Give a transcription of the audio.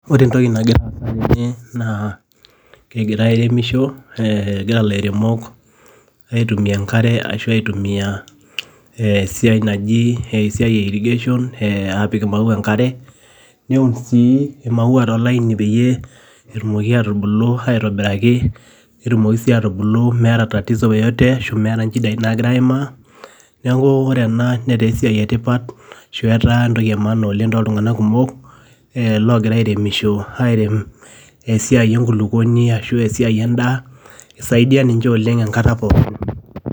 Ore entoki nagira aasa tene, naa kegirai aremisho, egira lairemok aitumia enkare ashu aitumia esiai naji, esiai e irrigation, aapik imauwa enkare, neun si imauwa tolain peyie etumoki atubulu aitobiraki, netumoki si atubulu meeta tatizo yote ashu meeta nchidai nagira aimaa, neeku ore ena netaa esiai etipat, ashu etaa entoki emaana oleng toltung'anak kumok, logira airemisho airem esiai enkulukuoni ashu esiai endaa, isaidia ninche oleng enkata pookin.